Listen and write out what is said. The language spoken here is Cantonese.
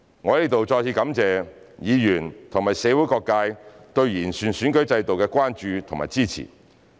我在此再次感謝議員和社會各界對完善選舉制度的關注及支持。